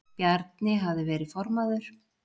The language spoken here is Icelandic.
Bjarni hafði verið formaður